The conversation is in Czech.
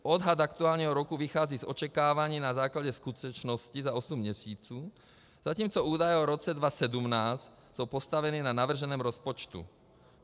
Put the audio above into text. Odhad aktuálního roku vychází z očekávání na základě skutečností za osm měsíců, zatímco údaje o roce 2017 jsou postaveny na navrženém rozpočtu.